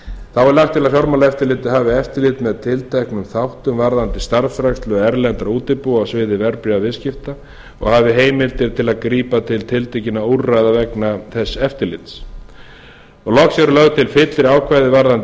þá er lagt til að fjármálaeftirlitið hafi eftirlit með tilteknum þáttum varðandi starfsrækslu erlendra útibúa á sviði verðbréfasviðskipta og hafi heimildir til að grípa til tiltekinna úrræða vegna þess eftirlits loks eru lögð til fyllri ákvæði varðandi